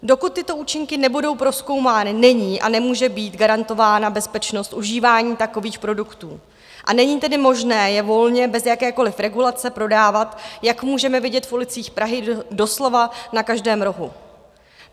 Dokud tyto účinky nebudou prozkoumány, není a nemůže být garantována bezpečnost užívání takových produktů, a není tedy možné je volně bez jakékoliv regulace prodávat, jak můžeme vidět v ulicích Prahy doslova na každém rohu.